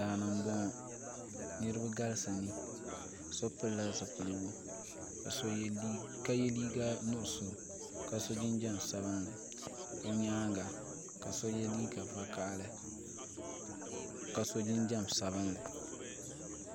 Daani mbɔŋɔ niriba galisi ni so pili la zupiligu ka ye liiga nuɣiso ka so jinjam sabinli o yɛanga ka ye liiga vakahali ka so jinjam sabinli.